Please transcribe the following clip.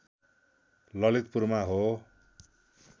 ललितपुरमा हो